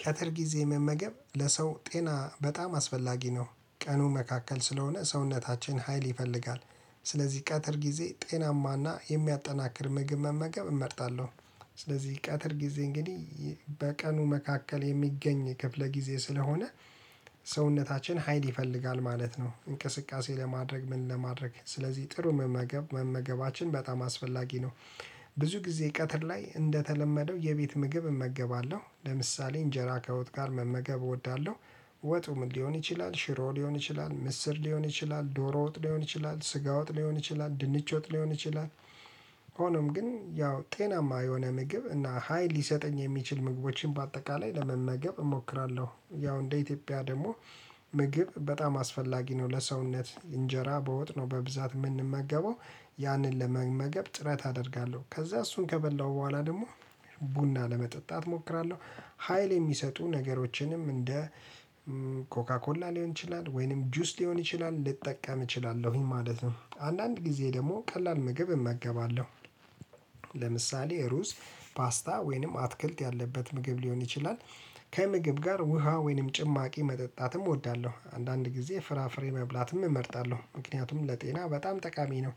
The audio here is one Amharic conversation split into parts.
ቀትር ጊዜ መመገብ ለሰው ጤና በጣም አስፈላጊ ነው ቀኑ መካከል ስለሆነ ሰውነታችን ሀይል ይፈልጋል። ስለዚህ ቀትር ጊዜ ጤናማና የሚያጠናክር ምግብ መመገብ እመርጣለሁ። ስለዚህ ቀትር ጊዜ እንግዲህ በቀኑ መካከል የሚገኝ ክፍለ ጊዜ ስለሆነ ሰውነታችን ሀይል ይፈልጋል ማለት ነው እንቅስቃሴ ለማድረግ ምን ለማድረግ ስለዚህ ጥሩ መመገብ መመገባችን በጣም አስፈላጊ ነው። ብዙ ጊዜ ቀትር ላይ እንደተለመደው የቤት ምግብ እመገባለሁ ለምሳሌ እንጀራ ከወጥ ጋር መመገብ እወዳለሁ። ወጡ ምን ሊሆን ይችላል ሽሮ ሊሆን ይችላል ምስር ሊሆን ይችላል ዶሮ ወጥ ሊሆን ይችላል ስጋ ወጥ ሊሆን ይችላል ድንች ወጥ ሊሆን ይችላል። ሆኖም ግን ያው ጤናማ የሆነ ምግብ እና ሀይል ሊሰጠኝ የሚችል ምግቦችን በአጠቃላይ ለመመገብ እሞክራለሁ። ያው እንደ ኢትዮጵያ ደግሞ ምግብ በጣም አስፈላጊ ነው። ለሰውነት እንጀራ በወጥነው በብዛት የምንመገበው ያንን ለመመገብ ጥረት አደርጋለሁ። ከዛ እሱን ከበላሁ በኋላ ደግሞ ቡና ለመጠጣት እሞክራለሁ። ሀይል የሚሰጡ ነገሮችንም እንደ እ ኮካ ኮላ ሊሆን ይችላል ወይንም ጁስ ሊሆን ይችላል ልጠቀም እችላለሁኝ ማለት ነው። አንዳንድ ጊዜ ደግሞ ቀላል ምግብ እመገባለሁ። ለምሳሌ ሩዝ ፓስታ ወይንም አትክልት ያለበት ምግብ ሊሆን ይችላል። ከምግብ ጋር ውሃ ወይንም ጭማቂ መጠጣትም እወዳለሁ አንዳንድ ጊዜ ፍራፍሬ መብላትም እመርጣለሁ ምክንያቱም ለጤና በጣም ጠቃሚ ነው።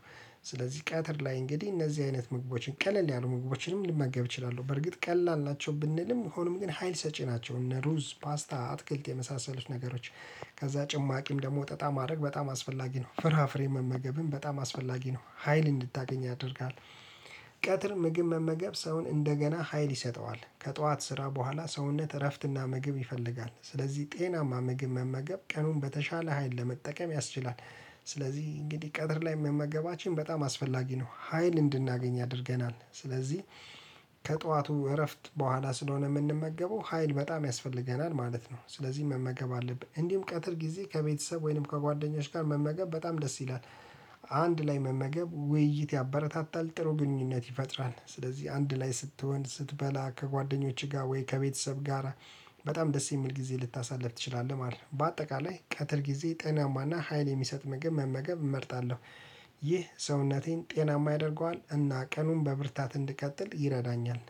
ስለዚህ ቀትር ላይ እንግዲህ እነዚህ አይነት ምግቦችን ቀለል ያሉ ምግቦችንም ልመገብ እችላለሁ በርግጥ ቀላል ናቸው ብንልም ሆኖም ግን ሀይል ሰጪ ናቸው እነ ሩዝ ፓስታ አትክልት የመሳሰሉት ነገሮች። ከዛ ጭማቂም ደግሞ ጠጣ ማድረግ በጣም አስፈላጊ ነው። ፍራፍሬ መመገብም በጣም አስፈላጊ ነው ሀይል እንድታገኝ ያደርጋል። ቀትር ምግብ መመገብ ሰውን እንደገና ሀይል ይሰጠዋል ከጠዋት ስራ በኋላ ሰውነት እረፍትና ምግብ ይፈልጋል ስለዚህ ጤናማ ምግብ መመገብ ቀኑን በተሻለ ሀይል ለመጠቀም ያስችላል። ስለዚህ እንግዲህ ቀትር ላይ መመገባችን በጣም አስፈላጊ ነው ሀይል እንድናገኝ ያደርገናል። ስለዚህ ከጠዋቱ እረፍት በኋላ ስለሆነ የምንመገበው ሀይል በጣም ያስፈልገናል ማለት ነው። ስለዚህ መመገብ አለብን እንዲሁም ቀትር ጊዜ ከቤተሰብ ወይንም ከጓደኞች ጋር መመገብ በጣም ደስ ይላል። አንድ ላይ መመገብ ውይይት ያበረታታል ጥሩ ግንኙነት ይፈጥራል ስለዚህ አንድ ላይ ስትሆን ስትበላ ከጓደኞችህ ጋር ወይ ከቤተሰብ ጋራ በጣም ደስ የሚል ጊዜ ልታሳልፍ ትችላለህ ማለት ነው። በአጠቃላይ ቀጥር ጊዜ ጠናማና ሀይል የሚሰጥ ምግብ መመገብ እመርጣለሁ። ይህ ሰውነቴን ጤናማ ያደርገዋል እና ቀኑን በብርታት እንድቀጥል ይረዳኛል